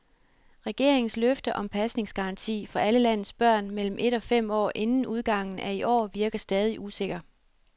Regeringens løfte om pasningsgaranti for alle landets børn mellem et og fem år inden udgangen af i år virker stadig usikker.